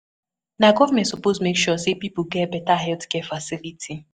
Na government suppose make sure sey pipo get beta healthcare facility.